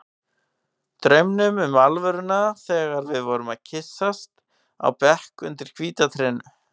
Draumnum um alvöruna þegar við vorum að kyssast á bekk undir hvíta trénu.